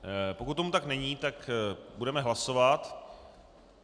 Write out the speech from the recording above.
Pokud tomu tak není, tak budeme hlasovat.